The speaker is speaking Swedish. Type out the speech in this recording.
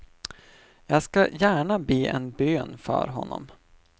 Jag ska gärna be en bön för honom.